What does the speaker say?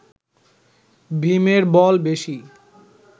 ভীমের বল বেশী